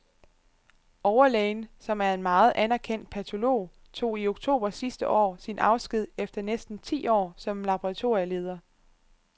Overlægen, som er en meget anerkendt patolog, tog i oktober sidste år sin afsked efter næsten ti år som laboratorieleder.